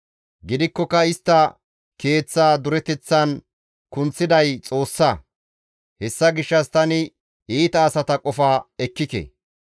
Gidikkoka istta keeththa dureteththan kunththiday Xoossa. Hessa gishshas tani iita asata qofa ekkike.